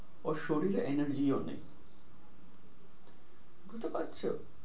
ওর শরীরে energy ও নেই। বুঝতে পারছো?